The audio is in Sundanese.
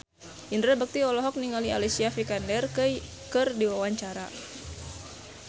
Indra Bekti olohok ningali Alicia Vikander keur diwawancara